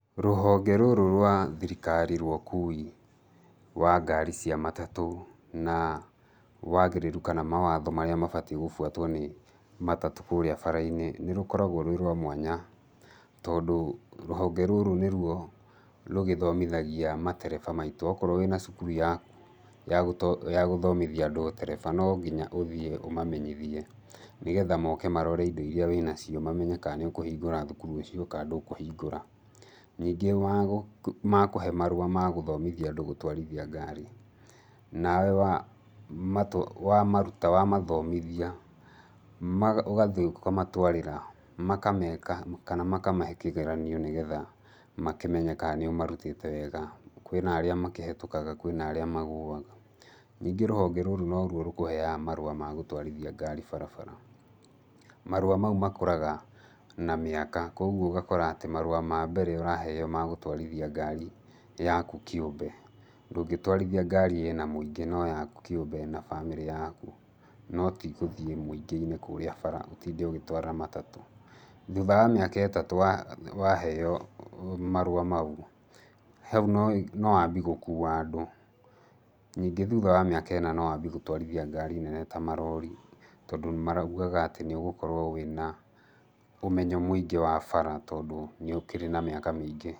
Rũhonge rũrũ rwa thirikari rwa ũkui wa ngari cia matatũ na wagĩrĩru kana mawatho marĩa mabatiĩ gũbwatwo nĩ matatũ kũũrĩa bara-inĩ nĩ rũkoragwo rwĩ rwa mwanya, tondũ rũhonge rũrũ nĩrwo rũgĩthomithagia matereba maitũ, okorwo wĩna cukuru yaku ya gũto, ya gũthomithia andũ ũtereba, nonginya ũthiĩ ũmamenyithie nĩgetha moke marore indo iria wĩnacio mamenye kana nĩũkũhingũra cukuru ũcio kana ndũkũhingũra. Ningĩ wagũ, makũhe marũa ma gũthomithia andũ gũtwarithia ngari, nawe wamatwa, wamaruta, wamathomithia maga, ũgathiĩ ũkamatwarĩra makameka kana makamahe kĩgeranio nĩgetha makĩmenye ka nĩũmarutĩte wega, kwĩna arĩa makĩhetũkaga kwĩna arĩa magũaga. Ningĩ rũhonge rũrũ norwo rũkũheaga marũa ma gũtwarithia ngari barabara. Marũa mau makũraga na mĩaka kwogwo ũgakora atĩ marũa ma mbere ũraheywo ma gũtwarithia ngari yaku kĩũmbe, ndũngĩtwarithia ngari ĩna mũingĩ no yaku kĩũmbe na bamĩrĩ yaku, no tĩ ũthiĩ mũingĩ-inĩ kũũrĩa bara ũtinde ũgĩtwara matatũ. Thuutha wa mĩaka ĩtatũ wa, waheywo marũa mau, hau no, nowambi gũkua andũ. Ningĩ thuutha wa mĩaka ĩna nowambi gũtwarithia ngari nene ta marori, tondũ maraugaga atĩ nĩũgũkorwo wĩna ũmenyo mũingĩ wa bara tondũ nĩ ũkĩrĩ na mĩaka mĩingĩ.